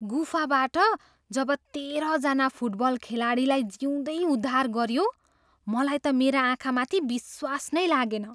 गुफाबाट जब तेह्रजना फुटबल खेलाडीलाई जिउँदै उद्धार गरियो मलाई त मेरा आँखामाथि विश्वास नै लागेन।